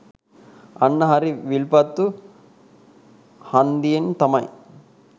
අන්න හරි විල්පත්තු හන්දියෙන් තමයි